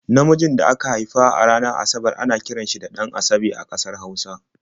Namijin da aka haifa ranar Asabar ana kiran shi da 'Ɗan-asabe' a ƙasar Hausa.